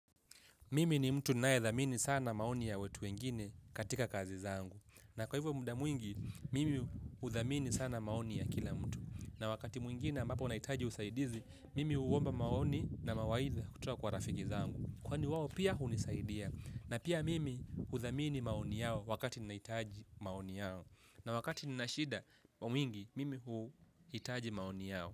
Mimi ni mtu ninaedhamini sana maoni ya watu wengine katika kazi zangu. Na kwa hivyo muda mwingi, mimi udhamini sana maoni ya kila mtu. Na wakati mwingnei ambapo nahitaji usaidizi, mimi uomba maoni na mawaidha kutoka kwa rafiki zangu. Kwani wao pia hunisaidia. Na pia mimi udhamini maoni yao wakati nahitaji maoni yao. Na wakati nina shida kwa wingi, mimi huhitaji maoni yao.